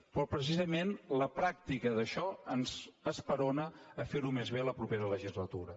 però precisament la pràctica d’això ens esperona a fer ho més bé en la propera legislatura